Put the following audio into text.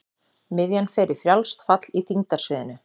Miðjan fer í frjálst fall í þyngdarsviðinu.